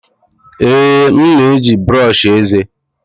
Ee, m na-eji brọsh eze.